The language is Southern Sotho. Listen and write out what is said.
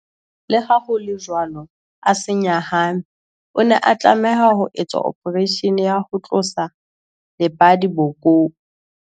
Leha ho le jwalo, a se nyahame. O ne a tlameha ho etswa ophareishene ya ho tlosa lebadi bokong.